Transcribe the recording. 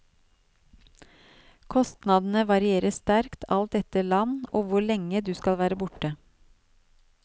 Kostnadene varierer sterkt alt etter land og hvor lenge du skal være borte.